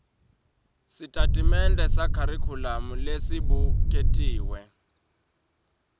sitatimende sekharikhulamu lesibuketiwe